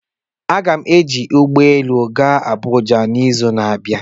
Aga m eji ụgbọ elu gaa Abuja n'izu na-abịa